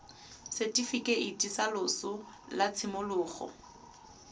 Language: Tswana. setifikeiti sa loso sa tshimologo